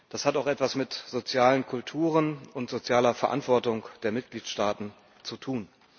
Das hat auch etwas mit sozialen Kulturen und sozialer Verantwortung der Mitgliedstaaten zu tun.